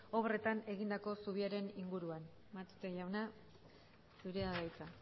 obretan egindako zubiaren inguruan matute jauna zurea da hitza